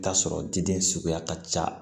Taa sɔrɔ diden suguya ka ca